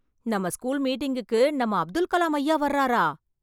நம்ம ஸ்கூல் மீட்டிங்க்கு நம்ம அப்துல் கலாம் ஐயா வர்றாறா?